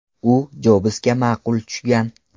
U Jobsga ma’qul tushgan.